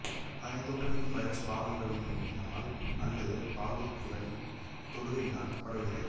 அதனைத் தோற்றுவிக்கும் வைரஸ் பாலுறவினால அல்லது பாலுறுப்புக்களின் தொடுகையினால் பரவுகிறது